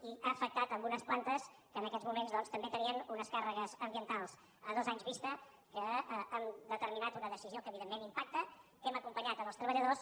i ha afectat unes plantes que en aquests moments doncs també tenien unes càrregues ambientals a dos anys vista que han determinat una decisió que evidentment impacta que hem acompanyat els treballadors